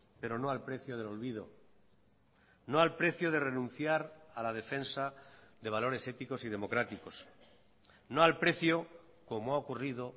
pero no al precio del olvido no al precio de renunciar a la defensa de valores éticos y democráticos no al precio como ha ocurrido